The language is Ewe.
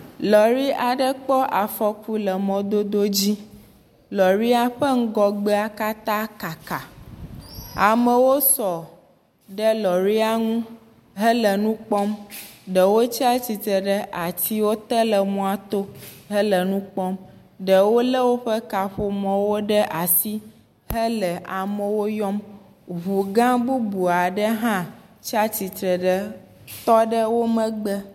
Lɔri aɖe kpɔ afɔku le mɔdodo dzi. Lɔria ƒe ŋgɔgbea katã kaka. Amewo sɔ ɖe lɔria ŋu hele nu kpɔm. Ɖewo tsia tsitre ɖe atiwo te le mɔto hele nu kpɔm. Ɖewo le woƒe kaƒomɔwoɖe asi hele amewo yɔm. Ŋugã bubua ɖe hã tsia tsitre ɖe tɔ ɖe wo megbe.